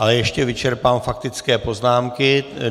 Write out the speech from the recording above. Ale ještě vyčerpám faktické poznámky.